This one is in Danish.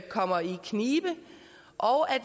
kommer i knibe og